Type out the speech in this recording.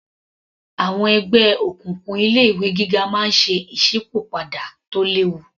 Àwọn ẹgbẹ́ òkùnkùn ilé ìwé gíga máa ń ṣe ìsípò padà tó léwu